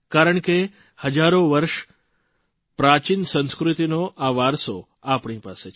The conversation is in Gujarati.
કારણ કે હજારો વર્ષ પ્રાચીન સંસ્કૃતિનો આ વારસો આપણી પાસે છે